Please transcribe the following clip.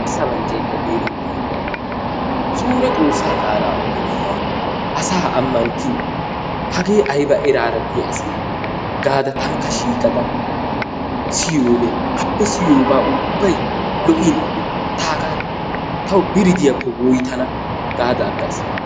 Suure xoossaa qaalaa odiidi asaa ammanttidi eraa ekkiyaa asi gaada tankka shiiqada siyoode appe siyoobay ubbay lo"in ta hagaa biri diyaakko woyttana gaada aggaas.